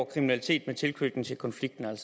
kriminalitet med tilknytning til konflikten